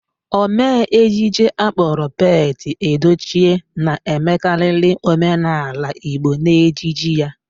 Omee ejije akpọrọ Pete Edochie na-emekarịrị omenaala Igbo n'ejije ya.